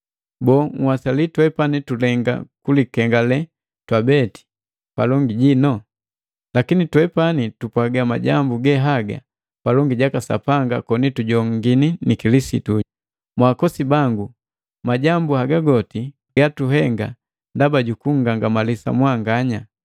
Boo, nhwasali twepani tulenga kulikengale twabeti palongi jino? Lakini twepani tupwaga majambu ge haga palongi jaka Sapanga koni tujongini ni Kilisitu. Mwaakosi bangu, majambu haga goti gatuhenga ndaba jukungangamalisa mwanganya.